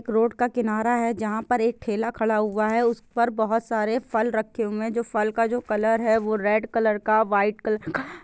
road का किनारा है जहां पर एक ठेला खड़ा हुआ है उस पर बहोत सारे फल रखे हुए है फल का जो कलर है रेड कलर का वाइट कलर का--